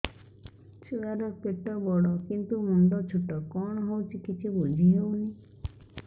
ଛୁଆର ପେଟବଡ଼ କିନ୍ତୁ ମୁଣ୍ଡ ଛୋଟ କଣ ହଉଚି କିଛି ଵୁଝିହୋଉନି